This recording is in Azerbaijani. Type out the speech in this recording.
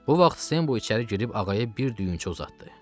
Bu vaxt Senbu içəri girib Ağaya bir düyünçə uzatdı.